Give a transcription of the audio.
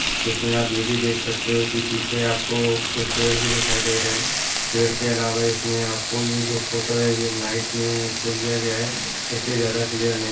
इसमें आप यह भी देख सकते हो कि पीछे आपको कुछ पेड़ भी दिखाई दे रहे हैं पेड़ के अलावा इसमें आपको यह जो फोटो है ये नाइट में इसको लिया गया है इस लिए ज़्यादा क्लियर नहीं--